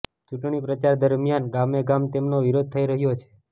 ચૂંટણી પ્રચાર દરમિયાન ગામેગામ તેમનો વિરોધ થઈ રહ્યો છે